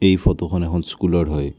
এই ফটোখন এখন স্কুলৰ হয়।